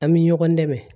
An bɛ ɲɔgɔn dɛmɛ